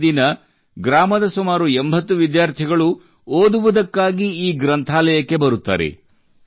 ಪ್ರತಿದಿನ ಗ್ರಾಮದ ಸುಮಾರು 80 ವಿದ್ಯಾರ್ಥಿಗಳು ಓದುವುದಕ್ಕಾಗಿ ಈ ಗ್ರಂಥಾಲಯಕ್ಕೆ ಬರುತ್ತಾರೆ